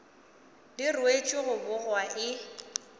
di ruetšwe go bogwa e